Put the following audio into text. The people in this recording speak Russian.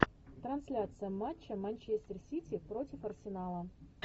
трансляция матча манчестер сити против арсенала